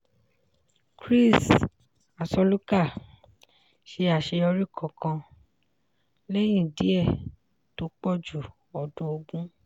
chris-asoluka ṣe àṣeyọrí kánkán lẹ́yìn díẹ̀ tó pọ̀ ju ọdún ogún.